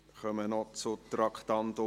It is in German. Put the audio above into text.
Wir kommen noch zum Traktandum 19.